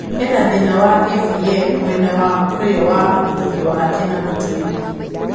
Ena thĩna wa AVM mwena wa ũrio wa ũthiũ wake na mũtwe-ini.